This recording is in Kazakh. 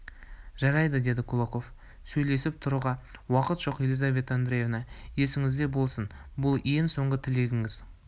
жарайды деді кулаков сөйлесіп тұруға уақыт жоқ елизавета андреевна есіңізде болсын бұл ең соңғы тілегіңіз